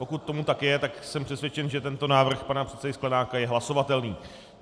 Pokud tomu tak je, tak jsem přesvědčen, že tento návrh pana předsedy Sklenáka je hlasovatelný.